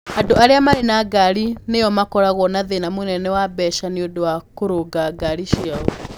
Andũ arĩa marĩ na ngari nĩo makoragwo na thĩna mũnene wa mbeca nĩ ũndũ wa kũrũnga ngaari ciao.